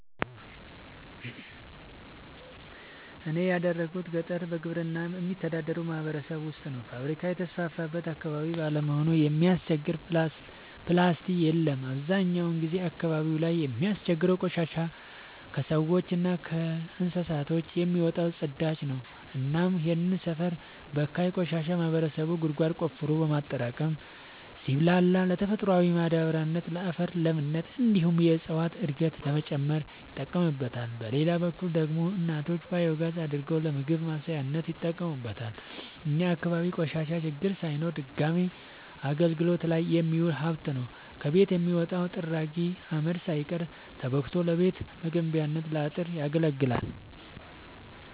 እኔ ያደጉት ገጠር በግብርና በሚተዳደር ማህበረሰብ ውስጥ ነው። ፋብሪካ የተስፋፋበት አካባቢ ባለመሆኑ የሚያስቸግር ፕላስቲ የለም አብዛኛውን ጊዜ አካባቢው ላይ የሚያስቸግረው ቆሻሻ የከሰዎች እና ከከብቶች የሚወጣው ፅዳጅ ነው እናም ይህንን ሰፈር በካይ ቆሻሻ ማህበረሰቡ ጉድጓድ ቆፍሮ በማጠራቀም ሲብላላ ለተፈጥሯዊ ማዳበሪያነት ለአፈር ለምነት እንዲሁም የእፀዋትን እድገት ለመጨመር ይጠቀምበታል። በሌላ በኩል ደግሞ እናቶች ባዮጋዝ አድርገው ለምግብ ማብሰያነት ይጠቀሙበታል። እኛ አካባቢ ቆሻሻ ችግር ሳይሆን ድጋሚ አገልግት ላይ የሚውል ሀብት ነው። ከቤት የሚወጣው ጥራጊ አመድ ሳይቀር ተቦክቶ ለቤት መገንቢያ ለአጥር ያገለግላል።